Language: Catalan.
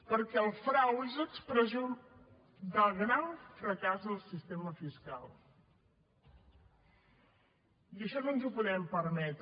perquè el frau és l’expressió del gran fracàs del sistema fiscal i això no ens ho podem permetre